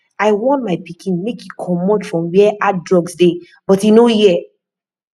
i warn my pikin make e comot from where hard drugs dey but e no hear